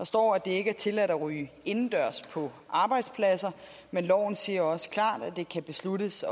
står at det ikke er tilladt at ryge indendørs på arbejdspladser men loven siger også klart at det kan besluttes